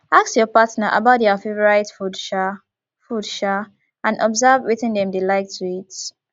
ask your partner about their favourite food um food um and observe wetin dem dey like to eat